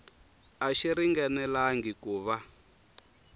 a xi ringanelangi ku va